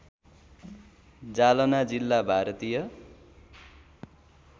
जालना जिल्ला भारतीय